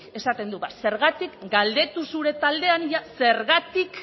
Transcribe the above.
esaten du ba zergatik galdetu zure taldean ia zergatik